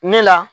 Ne la